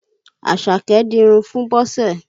Àṣàké dinrun fún Bọ́sẹ̀